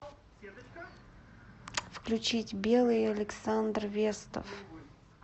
включить белый александр вестов